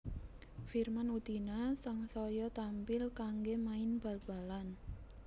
Firman Utina sangsaya trampil kanggé main bal balan